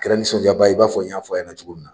Kɛra nisɔndiya ba ye i b'a fɔ n y'a fɔ a ɲɛna cogo min na.